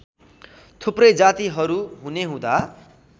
थुप्रै जातिहरू हुनेहुँदा